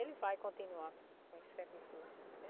Ele vai continuar com esse com esse serviço lá.